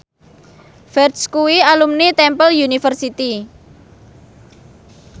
Ferdge kuwi alumni Temple University